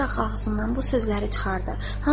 Ondaraq ağzından bu sözləri çıxartdı.